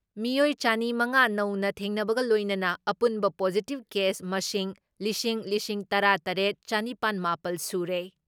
ꯃꯤꯑꯣꯏ ꯆꯅꯤ ꯃꯉꯥ ꯅꯧꯅ ꯊꯦꯡꯅꯕꯒ ꯂꯣꯏꯅꯅ ꯑꯄꯨꯟꯕ ꯄꯣꯖꯤꯇꯤꯞ ꯀꯦꯁ ꯃꯁꯤꯡ ꯂꯤꯁꯤꯡ ꯂꯤꯁꯤꯡ ꯇꯔꯥ ꯇꯔꯦꯠ ꯆꯥꯅꯤꯄꯥꯟ ꯃꯥꯄꯜ ꯁꯨꯔꯦ ꯫